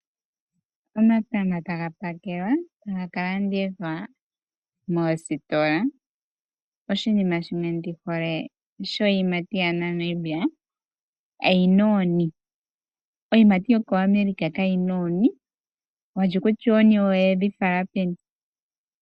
Omatama taga pakelwa taga ka landithwa moositola. Oshinima shimwe ndi hole shiiyimati yaNamibia oyina oonkenya. Iiyimati yAmerica kayina oonkenya. Walye kutya oonkenya oyedhi fala peni.